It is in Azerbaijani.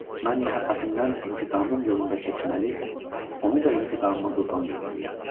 Mən məhəbbətimdən intiqamım yolunda keçməli, onu da intiqamıma qurban verməliyəm.